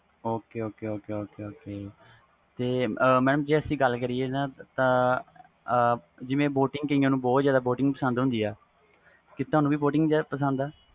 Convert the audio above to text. ok ok ok ok ਜੇ ਗੱਲ ਕਰੀਏ ਤਾ ਕਾਇਆ ਨੂੰ boating ਬਹੁਤ ਪਸੰਦ ਹੁੰਦੀ ਆ ਤੁਹਾਨੂੰ ਵੀ boating ਪਸੰਦ ਆ